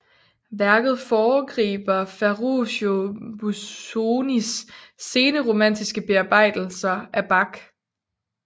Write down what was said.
Værket foregriber Ferruccio Busonis sene romantiske bearbejdelser af Bach